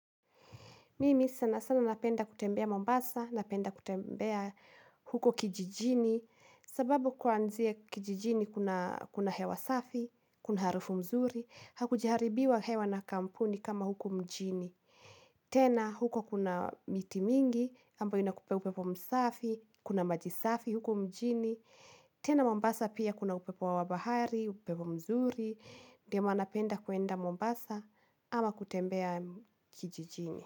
Mimi sana sana napenda kutembea Mombasa, napenda kutembea huko kijijini, sababu kuanzia kijijini kuna kuna hewa safi, kuna harufu mzuri, hakujaharibiwa hewa na kampuni kama huko mjini. Tena huko kuna miti mingi, ambayo inakupea upepo msafi, kuna maji safi, huku mjini. Tena Mombasa pia kuna upepo wa bahari, upepo mzuri, ndio maana napenda kwenda Mombasa ama kutembea kijijini.